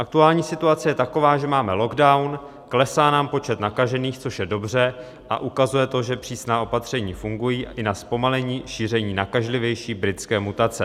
Aktuální situace je taková, že máme lockdown, klesá nám počet nakažených, což je dobře, a ukazuje to, že přísná opatření fungují i na zpomalení šíření nakažlivější britské mutace.